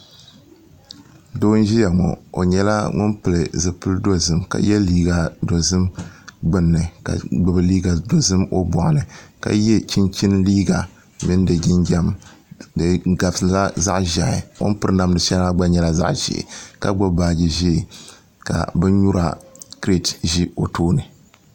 Doo n ʒiya ŋo o nyɛla ŋun pili zipili dozim ka yɛ liiga dozim gbunni ka gbubi liiga dozim o boɣu ni ka yɛ chinchin liiga mini di jinjɛm di gabisila zaɣ ƶiɛhi o ni piri namda shɛli maa gba nyɛla zaɣ ʒiɛ ka gbubi baaji ʒiɛ ka bin nyura kirɛt ʒi o tooni